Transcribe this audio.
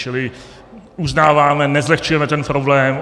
Čili uznáváme, nezlehčujeme ten problém.